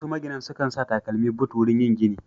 Wasu maginan sukan sa takalmi but wurin yin gini.